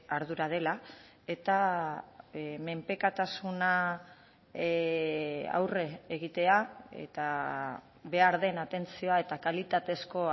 ardura dela eta menpekotasuna aurre egitea eta behar den atentzioa eta kalitatezko